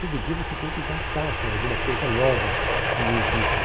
Todo dia você tem que gastar com alguma coisa nova que existe.